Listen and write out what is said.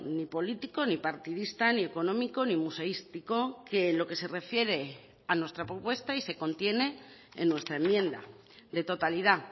ni político ni partidista ni económico ni museístico que lo que se refiere a nuestra propuesta y se contiene en nuestra enmienda de totalidad